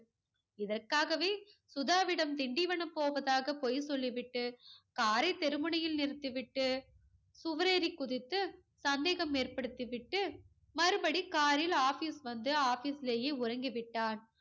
இதற்காகவே சுதாவிடம் திண்டிவனம் போவதாக பொய் சொல்லிவிட்டு car ரை தெரு முனையில் நிறுத்தி விட்டு சுவரேறி குதித்து சந்தேகம் ஏற்படுத்தி விட்டு மறுபடி car ரில் office வந்து office லயே உறங்கி விட்டான்.